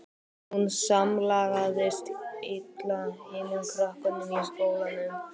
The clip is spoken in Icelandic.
Hún samlagaðist illa hinum krökkunum í skólanum.